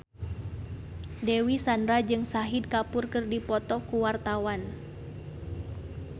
Dewi Sandra jeung Shahid Kapoor keur dipoto ku wartawan